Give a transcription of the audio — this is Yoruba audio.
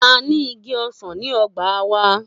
A ní ìgí õsàn ní õgbá wa